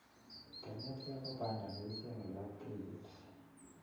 Kenetkei ko panda ne kichenge lapkeiyet